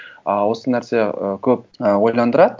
ы осы нәрсе ы көп ойландырады